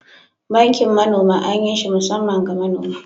Bankin manoma anyi shi musaman ga manoma